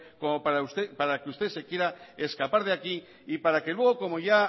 como para que usted se quiera escapar de aquí y para que luego como ya